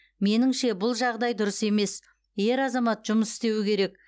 меніңше бұл жағдай дұрыс емес ер азамат жұмыс істеуі керек